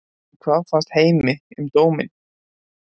En hvað fannst heimi um dóminn?